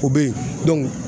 O bɛ ye